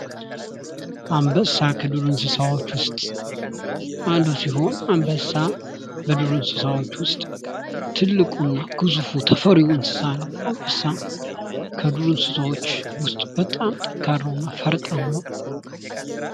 አንበሳ ከዱር እንስሳዎች ውስጥ አንዱ ሲሆን አንበሳ ከዱር እንስሳዎች ውስጥ ትልቁን ግዙፉ ተፈሪው እንስሳ ነው አንበሳ ከዱር እንስሳዎች ውስጥ በጣም ጠንካራውና ፈርጣማው